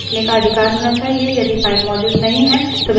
यदि file मौजूद नहीं है तो बनाई जाती है